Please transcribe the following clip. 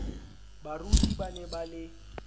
baruti ba ne ba le